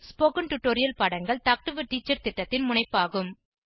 spoken tutorial பாடங்கள் talk to a teacher திட்டத்தின் முனைப்பாகும்